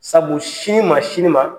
Sabu sini ma sini ma